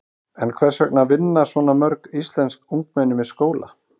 En hvers vegna vinna svona mörg íslensk ungmenni með skóla?